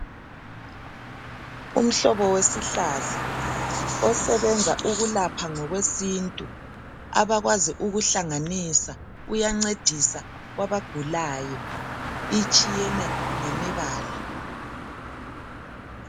Umhlobo wesihlahla osebenza ukulapha ngokwesintu abakwazi ukuhlanganisa uyancedisa kwabagulayo itshiyene ngemibala